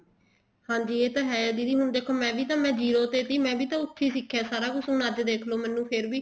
ਹਾਂਜੀ ਇਹ ਤਾਂ ਹੈ ਦੇਖੋ ਮੈਂ jio ਤੇ ਵੀ ਮੈਂ ਵੀ ਤਾਂ ਉੱਥੇ ਸਿੱਖਿਆ ਸਾਰਾ ਕੁੱਛ ਅੱਜ ਦੇਖਲੋ ਮੈਨੂੰ ਫ਼ੇਰ ਵੀ